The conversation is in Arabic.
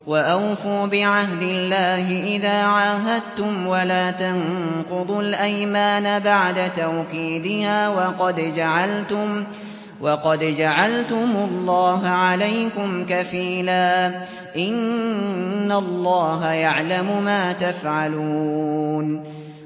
وَأَوْفُوا بِعَهْدِ اللَّهِ إِذَا عَاهَدتُّمْ وَلَا تَنقُضُوا الْأَيْمَانَ بَعْدَ تَوْكِيدِهَا وَقَدْ جَعَلْتُمُ اللَّهَ عَلَيْكُمْ كَفِيلًا ۚ إِنَّ اللَّهَ يَعْلَمُ مَا تَفْعَلُونَ